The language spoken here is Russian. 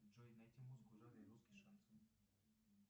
джой найти музыку в жанре русский шансон